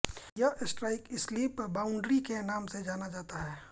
यह strike slip boundary के नाम से जाना जाता है